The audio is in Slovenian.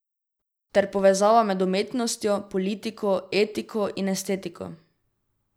Ter povezava med umetnostjo, politiko, etiko in estetiko.